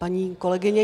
Paní kolegyně